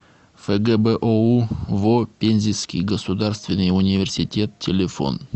фгбоу во пензенский государственный университет телефон